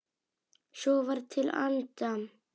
Svo var til enda.